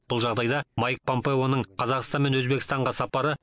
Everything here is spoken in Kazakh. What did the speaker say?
бұл жағдайда майкл помпеоның қазақстан мен өзбекстанға сапары